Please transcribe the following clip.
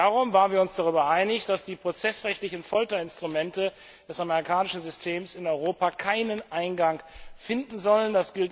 Darum waren wir uns darüber einig, dass die prozessrechtlichen Folterinstrumente des amerikanischen Systems in Europa keinen Eingang finden sollen.